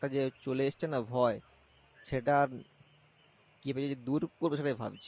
যে চলে এসছে না ভয় সেটা কিভাবে দূর করবে সেটাই ভাবছি